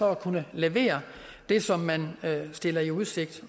at kunne levere det som man stiller i udsigt